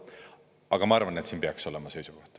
Aga ma arvan, et siin peaks olema seisukoht.